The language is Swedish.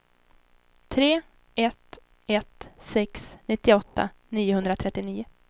tre ett ett sex nittioåtta niohundratrettionio